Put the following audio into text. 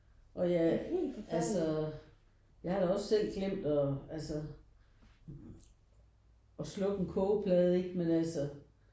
Og jeg altså jeg har da også selv glemt og altså at slukke en kogeplade ikke men altså